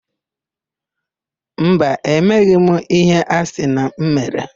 Mba, emeghị m íhé a sị na m mere.